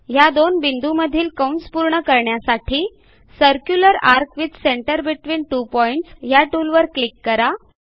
ह्या दोन बिंदूंमधील कंस पूर्ण करण्यासाठी circular ARC with centre between two points ह्या टूलवर क्लिक करा